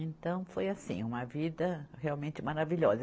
Então, foi assim, uma vida realmente maravilhosa.